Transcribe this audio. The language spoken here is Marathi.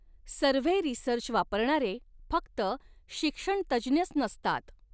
सर्व्हे रिसर्च वापरणारे फक्त शिक्षणतज्ज्ञच नसतात.